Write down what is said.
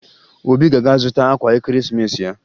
Obi ga-aga zụta akwa Ekeresimeesi ya